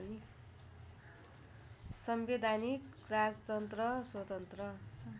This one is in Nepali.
संवैधानिक राजतन्त्र स्वतन्त्र